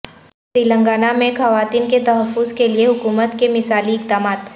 تلنگانہ میں خواتین کے تحفظ کیلئے حکومت کے مثالی اقدامات